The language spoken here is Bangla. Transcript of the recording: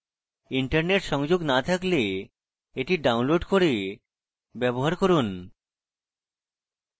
internet সংযোগ না থাকলে এটি download করে ব্যবহার করুন